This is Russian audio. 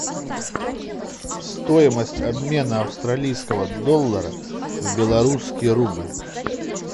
стоимость обмена австралийского доллара в белорусский рубль